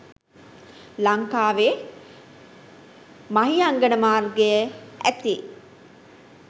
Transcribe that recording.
ලංකාවේ මහියංගන මාර්ගයේ ඇති